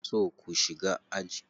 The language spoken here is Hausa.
So ku shiga aji.